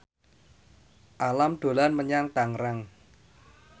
Alam dolan menyang Tangerang